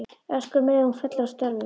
Öskra um leið og hún fellur að stöfum.